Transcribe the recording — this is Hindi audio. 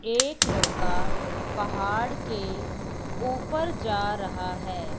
एक लड़का पहाड़ के ऊपर जा रहा है।